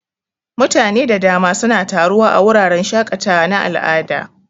Mutane da dama suna taruwa a wuraren shaƙatawa na al'ada.